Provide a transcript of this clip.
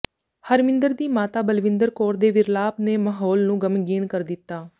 ਹਰਮਿੰਦਰ ਦੀ ਮਾਤਾ ਬਲਵਿੰਦਰ ਕੌਰ ਦੇ ਵਿਰਲਾਪ ਨੇ ਮਾਹੌਲ ਨੂੰ ਗ਼ਮਗੀਣ ਕਰ ਦਿੱਤਾ